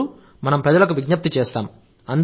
అప్పుడు మనం ప్రజలకు విజ్ఞప్తి చేస్తాం